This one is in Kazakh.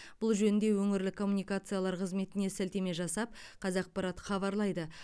бұл жөнінде өңірлік коммуникациялар қызметіне сілтеме жасап қазақпарат хабарлайды